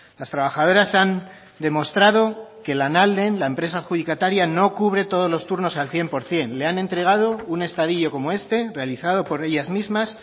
las trabajadoras han demostrado que lanalden la empresa adjudicataria no cubre todos los turnos al cien por ciento le han entregado un estadillo como este realizado por ellas mismas